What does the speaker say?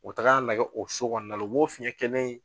O tagala a lagɛ o so kɔnɔna la o b'o fiɲɛ kelen